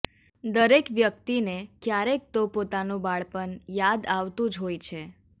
દરેક વ્યકિતને કયારેક તો પોતાનું બાળપણ યાદ આવતું જ હોય છે